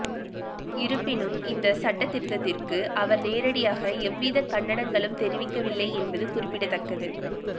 இருப்பினும் இந்த சட்டதிருத்தத்திற்கு அவர் நேரடியாக எவ்வித கண்டனங்களும் தெரிவிக்கவில்லை என்பது குறிப்பிடத்தக்கது